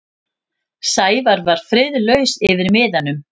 Sævar var friðlaus yfir miðanum.